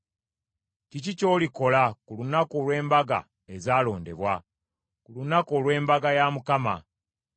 Kiki ky’olikola ku lunaku olw’embaga ezaalondebwa, ku lunaku olw’embaga ya Mukama ?